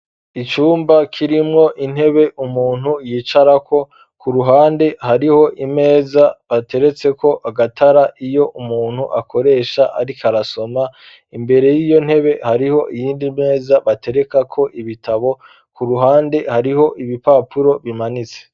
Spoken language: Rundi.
Icumba, kirimwo intebe, umuntu yicarako; ku ruhande, hariho imeza, bateretseko agatara, iyo umuntu akoresha, ariko arasoma; imbere y'iyo ntebe, hariho iyindi meza, baterekako ibitabo; ku ruhande, hariho ibipapuro, bimanitse.